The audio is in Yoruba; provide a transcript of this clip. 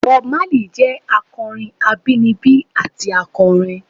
Bob Marley jẹ akọrin abinibi ati akọrin.